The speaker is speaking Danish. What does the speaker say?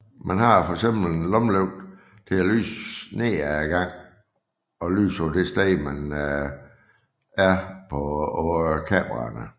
Man har fx en lommelygte til at lyse ned af gangen og lyse på det sted man er på kameraerne